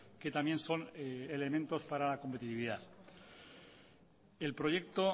que también son elementos para la competitividad el proyecto